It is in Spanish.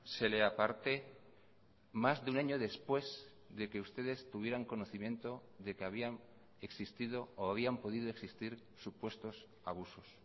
se le aparte más de un año después de que ustedes tuvieran conocimiento de que habían existido o habían podido existir supuestos abusos